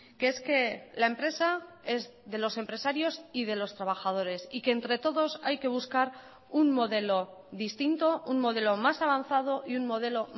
que es que la empresa es de los empresarios y de los trabajadores y que entre todos hay que buscar un modelo distinto un modelo más avanzado y un modelo